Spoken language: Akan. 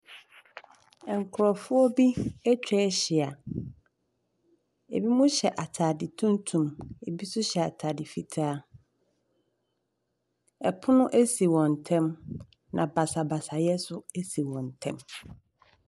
Nkurɔfoɔ bi atwa ahyia. Ɛbinom hyɛ atade tuntum. Ɛbi nso hyɛ atade fitaa. Ɛpono si wɔn ntam, na basabasayɛ nso asi wɔn ntam.